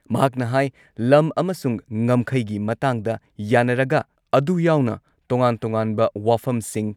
ꯃꯍꯥꯛꯅ ꯍꯥꯏ ꯂꯝ ꯑꯃꯁꯨꯡ ꯉꯝꯈꯩꯒꯤ ꯃꯇꯥꯡꯗ ꯌꯥꯟꯅꯔꯒ ꯑꯗꯨ ꯌꯥꯎꯅ ꯇꯣꯉꯥꯟ-ꯇꯣꯉꯥꯟꯕ ꯋꯥꯐꯝꯁꯤꯡ